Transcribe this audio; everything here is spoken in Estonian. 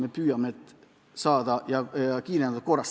Me püüame need saada, ja kiirendatud korras.